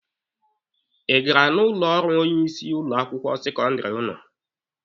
Ị gara n'ụlọ ọrụ onye isi ụlọ akwụkwọ sekọndịrị ụnụ?